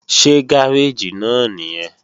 Ṣé gáréèjì náà nìyẹn?